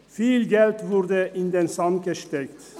Viel Geld wurde in den Sand gesetzt.